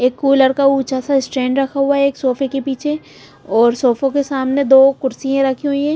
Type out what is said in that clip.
एक कूलर का ऊंचा सा स्टैंड रखा हुआ है एक सोफे के पीछे और सोफे के सामने दो कुर्सियां रखी हुई है।